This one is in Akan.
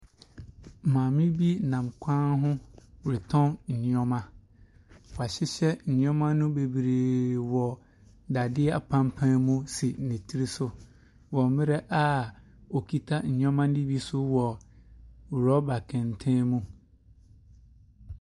Maame bi nam kwan ho retɔn nneɛma. Wahyehyɛ nneɛma no bebree wɔ dadeɛ apampaa mu si ne siri so, wɔ mmerɛ a ɔkita nneɔma no bi nso wɔ rɔba kɛntɛn mu.